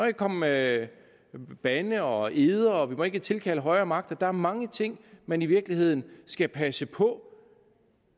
ikke komme med bandeord og eder og vi må ikke tilkalde højere magter der er mange ting man i virkeligheden skal passe på